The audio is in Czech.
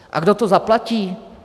A kdo to zaplatí?